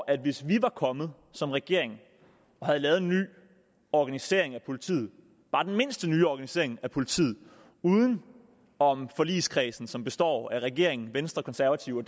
at hvis vi var kommet som regering og havde lavet en ny organisering af politiet bare den mindste nye organisering af politiet uden om forligskredsen som består af regeringen venstre konservative og